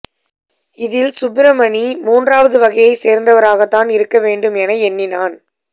இதில் சுப்பிரமணி முன்றாவது வகையைச் சேர்ந்தவராகத் தான் இருக்க வேண்டும் என எண்ணினான்